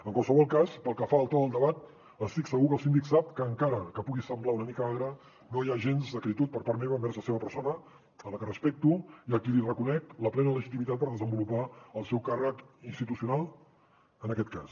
en qualsevol cas pel que fa al to del debat estic segur que el síndic sap que encara que pugui semblar una mica agre no hi ha gens d’acritud per part meva envers la seva persona a la que respecto i a qui li reconec la plena legitimitat per desenvolupar el seu càrrec institucional en aquest cas